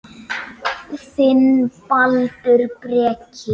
Þinn, Baldur Breki.